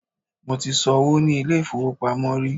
mo ti so'wo ni ilé ifowopamọ ri